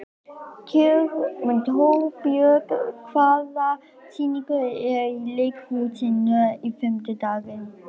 Torbjörg, hvaða sýningar eru í leikhúsinu á fimmtudaginn?